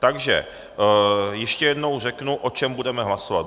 Takže ještě jednou řeknu, o čem budeme hlasovat.